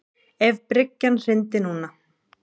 Ef bryggjan hryndi núna.